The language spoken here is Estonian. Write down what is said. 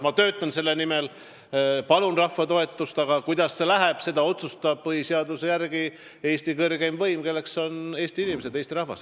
Ma töötan võidu nimel, palun rahva toetust, aga kuidas see läheb, seda otsustab põhiseaduse järgi Eesti kõrgeim võim, kelleks on Eesti inimesed, Eesti rahvas.